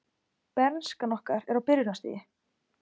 Bernskan okkar er á byrjunarstigi.